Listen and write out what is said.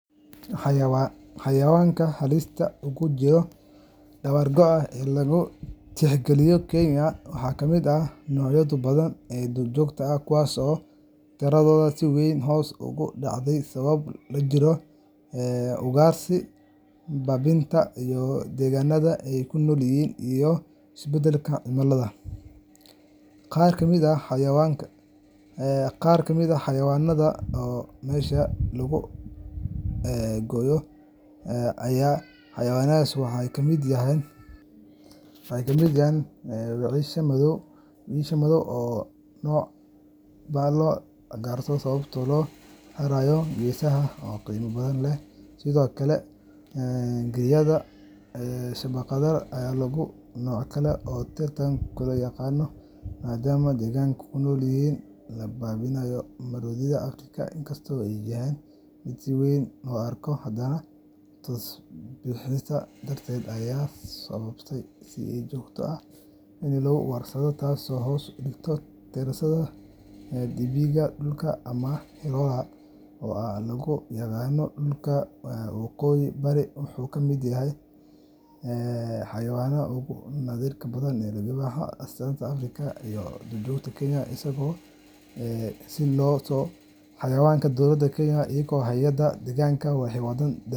Xayawaanka duurjoogta ah ee Kenya ku nool waxay ka mid yihiin hantida dabiiciga ah ee aadka loo qiimeeyo, balse waxaa jira noocyo badan oo halis weyn ugu jira dabar-go’. Sababaha keena dabar-go’a waxaa ugu weyn ugaarsiga sharci darrada ah, dhir-jaridda, iyo burburka deegaanka dabiiciga ah. Xayawaanka sida gaarka ah loo tixgeliyo inay khatar weyn ku jiraan waxaa ka mid ah wiyisha madow, oo ah nooc si ba’an loo ugaarsado sababo la xiriira geesaheeda oo qiimo badan leh. Sidoo kale, giryada shabaqlaha ah ayaa ah nooc kale oo si tartiib ah u yaraanaya, maadaama deegaanka ay ku nool yihiin la baabi’inayo. Maroodiga Afrika, inkastoo uu yahay mid si weyn loo arko, haddana tusbixiisa darteed ayaa sababay in si joogto ah loo ugaarsado, taasoo hoos u dhigtay tiradiisa. Dibiga dhulka ama Hirola, oo aad loogu yaqaan dhulka waqooyi bari, wuxuu ka mid yahay xayawaanka ugu naadirka badan Afrika. Libaaxa, oo astaan u ah qaranimada iyo duurjoogta Afrika, isagana wuu sii yaraanayaa maalinba maalinta ka dambeysa. Si loo badbaadiyo xayawaankan, dowladda Kenya iyo hay’adaha deegaanka waxay wadaan dadaallo .